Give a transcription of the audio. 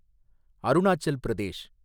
Arunachal Pradesh